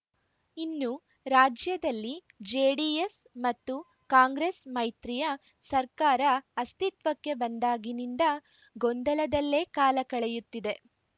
ಇನ್ನು ರಾಜ್ಯದಲ್ಲಿ ಜೆಡಿಎಸ್‌ ಮತ್ತು ಕಾಂಗ್ರೆಸ್‌ ಮೈತ್ರಿಯ ಸರ್ಕಾರ ಅಸ್ತಿತ್ವಕ್ಕೆ ಬಂದಾಗಿನಿಂದ ಗೊಂದಲದಲ್ಲೇ ಕಾಲ ಕಳೆಯುತ್ತಿದೆ